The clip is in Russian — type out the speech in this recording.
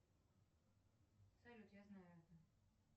салют я знаю это